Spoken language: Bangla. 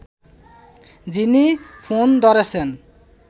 যিনি ফোন ধরেছেন